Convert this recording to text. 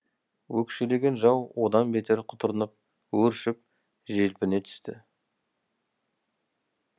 өкшелеген жау одан бетер құтырынып өршіп желпіне түсті